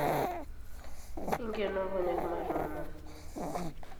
inkeno nkonyek matoomon